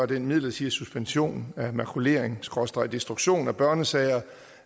den midlertidige suspension af makulering skråstreg destruktion af børnesager